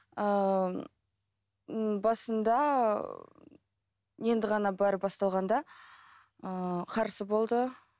ыыы басында енді ғана бәрі басталғанда ыыы қарсы болды